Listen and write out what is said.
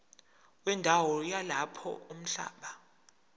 wendawo yalapho umhlaba